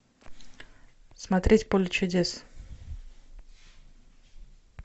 смотреть поле чудес